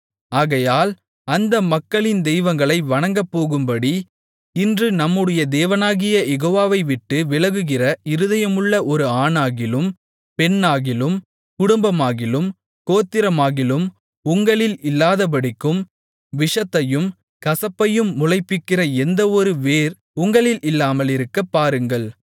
ஆகையால் அந்த மக்களின் தெய்வங்களை வணங்கப்போகும்படி இன்று நம்முடைய தேவனாகிய யெகோவாவை விட்டு விலகுகிற இருதயமுள்ள ஒரு ஆணாகிலும் பெண்ணாகிலும் குடும்பமாகிலும் கோத்திரமாகிலும் உங்களில் இல்லாதபடிக்கும் விஷத்தையும் கசப்பையும் முளைப்பிக்கிற எந்தவொரு வேர் உங்களில் இல்லாமலிருக்கப்பாருங்கள்